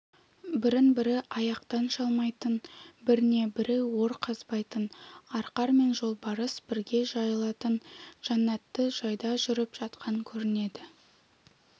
бірін-бірі аяқтан шалмайтын біріне-бірі ор қазбайтын арқар мен жолбарыс бірге жайылатын жәннатты жайда жүріп жатқан көрінеді